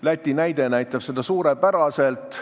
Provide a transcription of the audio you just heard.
Läti näide näitab seda suurepäraselt.